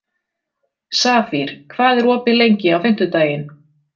Safír, hvað er opið lengi á fimmtudaginn?